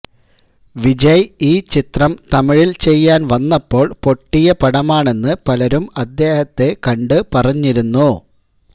വിജയ് ഈ ചിത്രം തമിഴില് ചെയ്യാന് വന്നപ്പോള് പൊട്ടിയ പടമാണെന്നു പലരും അദ്ദേഹത്തെ കണ്ടു പറഞ്ഞിരുന്നു